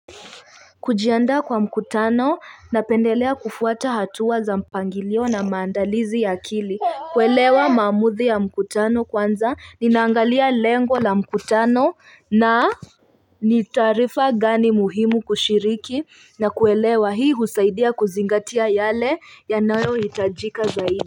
Kujiandaa kwa mkutano napendelea kufuata hatua za mpangilio na maandalizi ya akili kuelewa mamuzi ya mkutano kwanza ninaangalia lengo la mkutano na ni taarifa gani muhimu kushiriki na kuelewa hii husaidia kuzingatia yale yanayo hitajika zaidi.